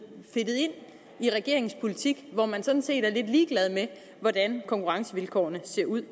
ind i regeringens politik hvor man sådan set er lidt ligeglad med hvordan konkurrencevilkårene ser ud